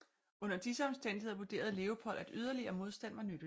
Under disse omstændigheder vurderede Leopold at yderligere modstand var nytteløs